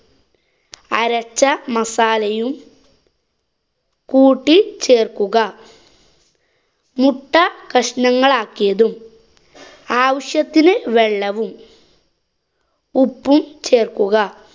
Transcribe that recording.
അരച്ച മസാലയും കൂട്ടി ചേര്‍ക്കുക മുട്ട കഷ്ണങ്ങളാക്കിയതും ആവശ്യത്തിന് വെള്ളവും ഉപ്പും ചേര്‍ക്കുക.